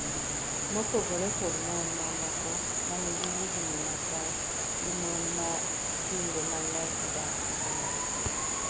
mopogore kod mon mamoko manigi higni machal gi mon man kinde mang'eny odak e bombe